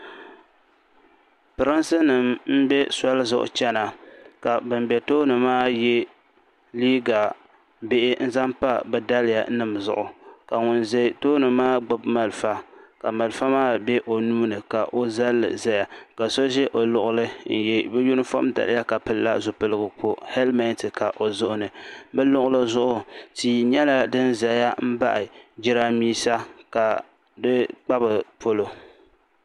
Pirinsi nima m be soli zuɣu chena ka bin be tooni maa ye liiga bihi n zaŋ pa bɛ daliya nima zuɣu ka ŋun za tooni maa gbibi malifa ka malifa maa be o nuuni ka o zalli zaya so ʒɛ o luɣuli n ye bɛ yunifom daliya ka pilila zipiligu ka helimenti ka o zuɣuni bɛ luɣuli zuɣu tia nyɛla din zaya pahi jirambisa ka di kpa bɛ polo.